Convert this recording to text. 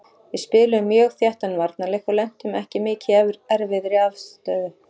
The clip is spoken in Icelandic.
Við spiluðum mjög þéttan varnarleik og lentum ekki mikið í erfiðri aðstöðu.